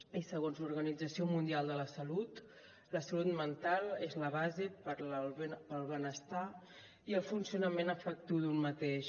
i segons l’organització mundial de la salut la salut mental és la base per al benestar i el funcionament afectiu d’un mateix